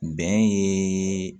Bɛn ye